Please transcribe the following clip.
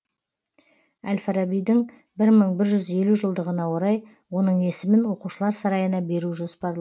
әл фарабидің бір мың бір жүз елу жылдығына орай оның есімін оқушылар сарайына беру жоспарланған